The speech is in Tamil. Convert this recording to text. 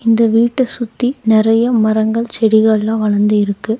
இந்த வீட்ட சுத்தி நறைய மரங்கள் செடிகல்லா வளர்ந்து இருக்கு.